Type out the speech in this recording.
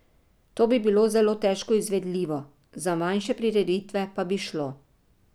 To bi bilo zelo težko izvedljivo, za manjše prireditve pa bi šlo.